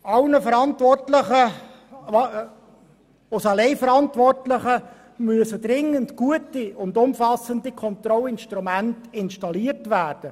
Als Alleinverantwortlicher muss er dringend gute und umfassende Kontrollinstrumente installieren.